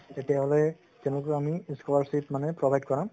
তেতিয়া হলে তেওঁলোকক আমি scholarship মানে provide কৰাম